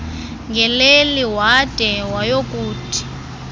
ngeleli wade wayokuthi